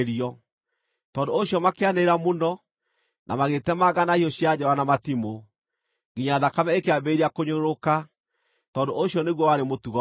Tondũ ũcio makĩanĩrĩra mũno, na magĩĩtemanga na hiũ cia njora na matimũ, nginya thakame ĩkĩambĩrĩria kũnyũrũrũka, tondũ ũcio nĩguo warĩ mũtugo wao.